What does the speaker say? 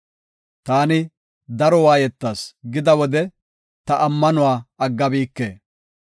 Taani, “Daro waayetas” gida wode, ta ammanuwa aggabike.